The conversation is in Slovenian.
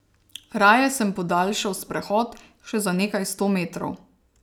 Raje sem podaljšal sprehod še za nekaj sto metrov.